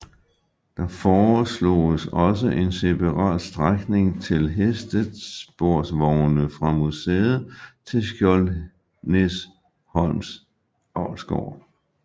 Der foresloges også en separat strækning til hestesporvogne fra museet til Skjoldenæsholms avlsgård